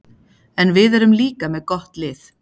En við erum líka með gott lið.